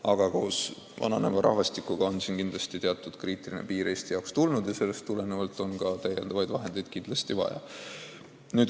Aga vananeva rahvastiku tõttu hakkab Eestis teatud kriitiline piir kätte jõudma ja sellest tulenevalt on ka täiendavaid vahendeid vaja.